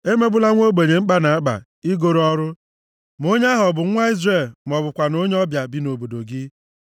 Emegbula nwa ogbenye mkpa na-akpa i goro ọrụ, ma onye ahụ ọ bụ nwa Izrel ma ọ bụkwanụ onye ọbịa bi nʼobodo gị.